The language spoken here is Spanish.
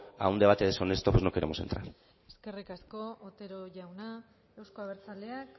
a un debate deshonesto no queremos entrar eskerrik asko otero jauna euzko abertzaleak